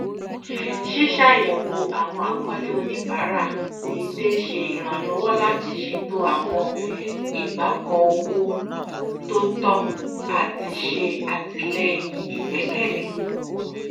ṣíṣàyẹwò àwọn àkọọlẹ oníbàárà déédé ṣe ìrànlọwọ láti ṣètò àwọn igbàkọ owó tó tọ àti ṣe àtìlẹyìn igbẹkẹlé